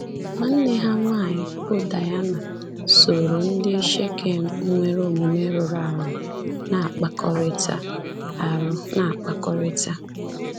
Nwanne ha nwanyị bụ́ Daịna sooro ndị Shekem nwere omume rụrụ arụ na-akpakọrịta. arụ na-akpakọrịta.